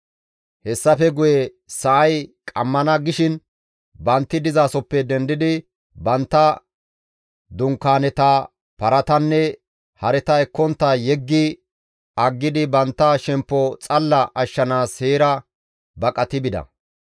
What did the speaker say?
Hessafe guye sa7ay qammana gishin bantti dizasoppe dendidi bantta dunkaaneta, paratanne hareta ekkontta yeggi aggidi bantta shemppo xalla ashshanaas heera baqati bida.